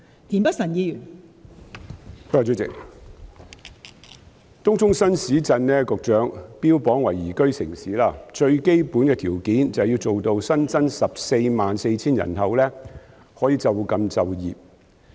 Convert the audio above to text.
代理主席，局長把東涌新市鎮標榜為宜居城市，而最基本的條件，就是要做到新增的144000人口可以就近就業。